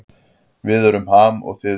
Við erum Ham og þið eruð Ham